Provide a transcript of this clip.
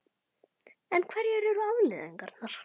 En hverjar eru afleiðingarnar?